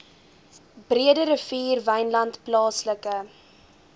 breederivier wynland plaaslike